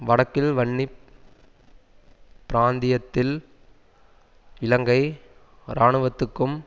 வடக்கில் வன்னி பிராந்தியத்தில் இலங்கை இராணுவத்துக்கும்